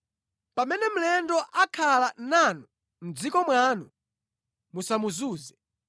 “ ‘Pamene mlendo akhala nanu mʼdziko mwanu, musamuzunze.